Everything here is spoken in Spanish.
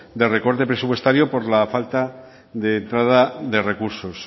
de recorte presupuestario por la falta de entrada de recursos